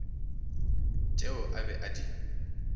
tšeo o be a di